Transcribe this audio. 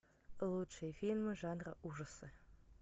лучшие фильмы жанра ужасы